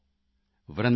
ਕਾਹੁ ਨ ਪਾਯੌ ਅੋਰ